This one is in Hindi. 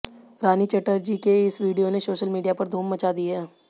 रानी चटर्जी के इस वीडियो ने सोशल मीडिया पर धूम मचा दी है